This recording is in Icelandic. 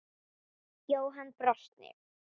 Jóhann brosti.